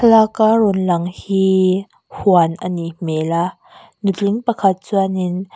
laka rawn lang hi huan anih hmel a nutling pakhat chuanin.